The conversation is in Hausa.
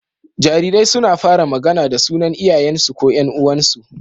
Jarirai suna fara magAna da sunan Iyayen su ko Yan uwansu